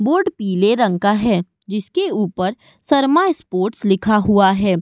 Board पीले रंग का है। जिसके ऊपर शर्मा स्पोर्ट्स लिखा हुआ है।